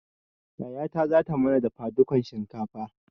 Yayata zata mana dafa dukan shinkafa